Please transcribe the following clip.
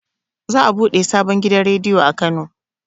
Za a buɗe sabon gidan rediyo a kano